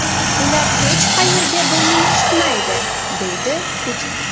Ular hech qayerga burnini suqmaydi”, deydi Putin.